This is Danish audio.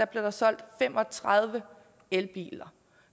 blev der solgt fem og tredive elbiler